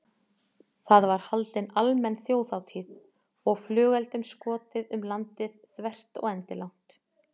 Það var haldin almenn þjóðhátíð og flugeldum skotið um landið þvert og endilangt.